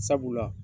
Sabula